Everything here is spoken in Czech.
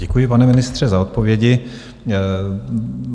Děkuji, pane ministře, za odpovědi.